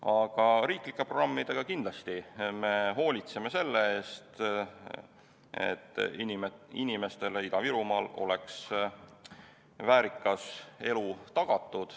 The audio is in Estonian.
Aga riiklike programmidega me hoolitseme selle eest, et Ida-Virumaa inimestele oleks tagatud väärikas elu.